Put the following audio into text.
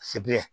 Sebiri